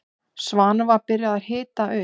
Svanur var byrjaður að hita upp.